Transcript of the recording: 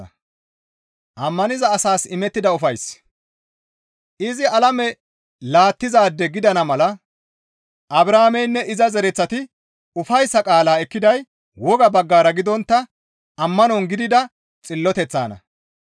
Izi alame laattizaade gidana mala Abrahaameynne iza zereththati ufayssa qaala ekkiday woga baggara gidontta ammanon gidida xilloteththana.